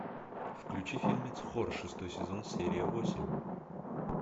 включи фильмец хор шестой сезон серия восемь